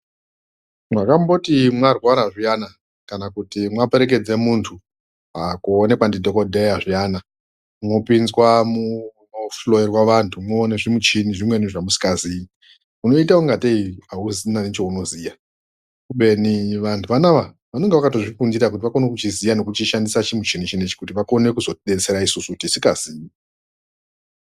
Makamboti marwara zviyani kana kuti maperekedze muntu kuonekwa ndi dhokodheya zviyana unopinzwa muno hloyerwa vantu moone zvimishina zvimweni zvamusinga ziyi unoita kunge tee auzi ne chaono ziya kubeni vantu vanavaa vanonga vakatozvi fundira kuti vakone kuchiziya neku chishandisa chi muchini chinechi kuti vakone kuzoti detsera isusu tisinga zivi.